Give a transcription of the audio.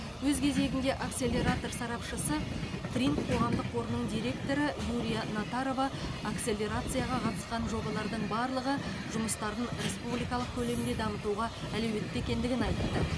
өз кезегінде акселератор сарапшысы тринт қоғамдық қорының директоры юлия натарова акселерацияға қатысқан жобалардың барлығы жұмыстарын республикалық көлемде дамытуға әлеуетті екендігін айтты